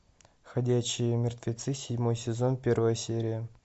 ходячие мертвецы седьмой сезон первая серия